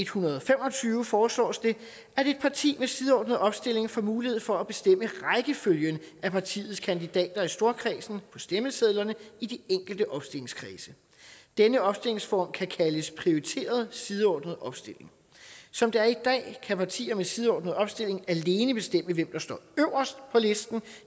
hundrede og fem og tyve foreslås det at et parti med sideordnet opstilling får mulighed for at bestemme rækkefølgen af partiets kandidater i storkredsen på stemmesedlerne i de enkelte opstillingskredse denne opstillingsform kan kaldes prioriteret sideordnet opstilling som det er i dag kan partier med sideordnet opstilling alene bestemme hvem der står øverst på listen